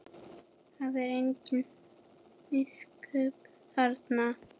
Það er engin miskunn þarna.